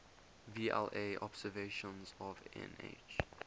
vla observations of nh